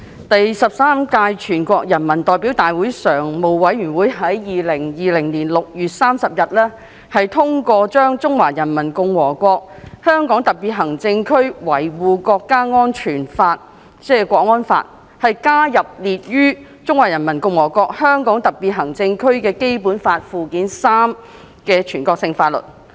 第十三屆全國人民代表大會常務委員會於2020年6月30日通過把《中華人民共和國香港特別行政區維護國家安全法》加入列於《中華人民共和國香港特別行政區基本法》附件三的全國性法律。